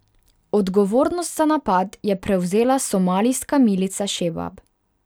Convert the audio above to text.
Odgovornost za napad je prevzela somalijska milica Šebab.